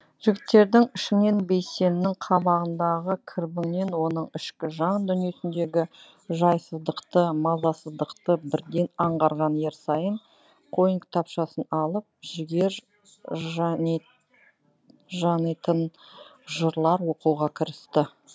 жігіттердің ішінен бейсеннің қабағындағы кірбіңнен оның ішкі жан дүниесіндегі жайсыздықты мазасыздықты бірден аңғарған ерсайын қойын кітапшасын алып жігер жанитын жырлар оқуға кірісті